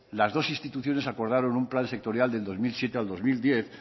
las dos instituciones acordaron un plan sectorial del dos mil siete al dos mil diez